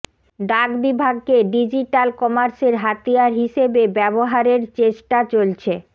ডাক বিভাগকে ডিজিটাল কমার্সের হাতিয়ার হিসেবে ব্যবহারের চেষ্টা চলছে